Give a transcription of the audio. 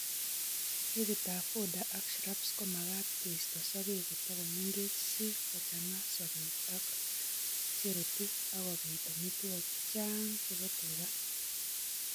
Ketikab fodder ak shrubskomakat keisto sogek kotakomengech si kochang'a sokek ak cherutu akobiit amitwokik che chang' chebo tuga